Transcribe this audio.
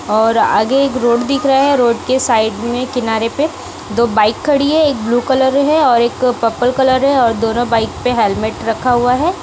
और आगे एक रोड दिख रहा है रोड के साइड में किनारे पे दो बाइक खड़ी है एक ब्लू कलर है और एक पर्पल कलर है और दोनों बाइक पे हेलमेट रखा हुआ है।